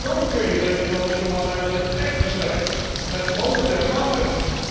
Dan kun je de economische malaise echt bestrijden met monetair maatwerk.